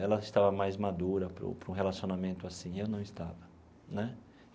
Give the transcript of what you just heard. Ela estava mais madura para um para um relacionamento assim e eu não estava né.